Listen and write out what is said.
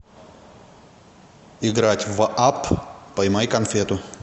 играть в апп поймай конфету